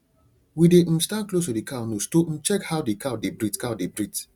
we dey um stand close to the cow nose to um check how the cow dey breathe cow dey breathe